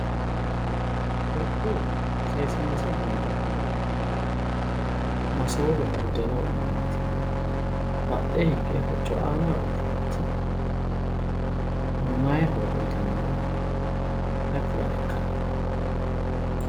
Kuriuu seesiinse gundoonniri masoowe buddeena wodhinannitinna badhee higge hocco aanaho worroonniti maayi horo uyitannoro ayi kulaekka?